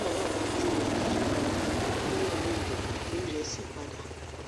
nigbana ni oju rẹ yiyi pada ni ori rẹ ori re si pada